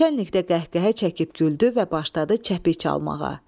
Naçalink də qəhqəhə çəkib güldü və başladı çəpih çalmağa.